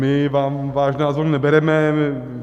My vám váš názor nebereme.